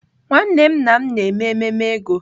Nwanne nna m na-eme ememe ego.